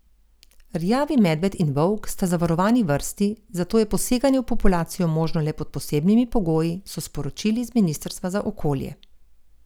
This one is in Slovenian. Rjavi medved in volk sta zavarovani vrsti, zato je poseganje v populacijo možno le pod posebnimi pogoji, so sporočili z ministrstva za okolje.